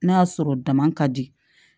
N'a y'a sɔrɔ dama ka di